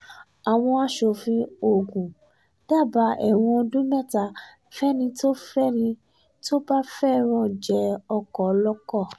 àwọn aṣòfin ogun dábàá ẹ̀wọ̀n ọdún mẹ́ta fẹ́ni tó fẹ́ni tó bá fẹ́ràn jẹ ọkọ ọlọ́kọ̀